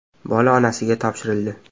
Bola onasiga topshirildi.